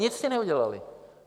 Nic jste neudělali.